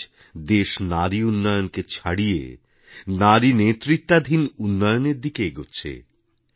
আজ দেশ নারী উন্নয়নকে ছাড়িয়ে নারী নেতৃত্বাধীন উন্নয়নের দিকে এগোচ্ছে